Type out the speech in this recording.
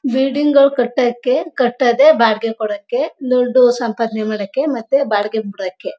Building ಗಳು ಕಟ್ಟಕ್ಕೆ ಕಟ್ಟದೇ ಬಾಡಿಗೆಗೆ ಕೊಡಕ್ಕೆ ದುಡ್ಡು ಸಂಪಾದನೆ ಮಾಡಕ್ಕೆ ಮತ್ತೆ ಬಾಡಿಗೆಗೆ ಬುಡಕ್ಕೆ.